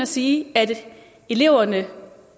sige at eleverne